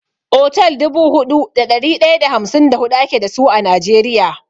Otal dubu huɗu da ɗari ɗaya da hamsin da huɗu ake dasu a Najeriya.